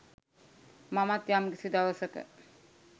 මමත් යම්කිසි දවසක